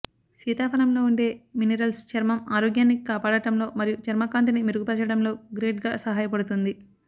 సీతాఫలంలో ఉండే మినిరల్స్ చర్మం ఆరోగ్యాన్ని కాపాడటంలో మరియు చర్మ కాంతిని మెరుగుపరచడంలో గ్రేట్ గా సహాయపడుతుంది